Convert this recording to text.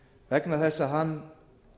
vegna þess að hann